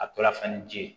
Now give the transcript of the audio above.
A tora fɛn ni ji ye